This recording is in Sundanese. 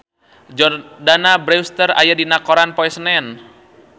Jordana Brewster aya dina koran poe Senen